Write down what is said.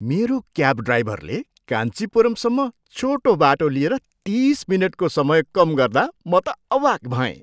मेरो क्याब ड्राइभरले काञ्चिपुरमसम्म छोटो बाटो लिएर तिस मिनेटको समय कम गर्दा म त अवाक भएँ!